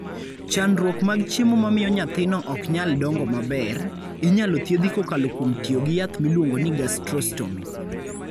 Chandruok mag chiemo mamiyo nyathino ok nyal dongo maber, inyalo thiedhi kokalo kuom tiyo gi yath miluongo ni gastrostomy.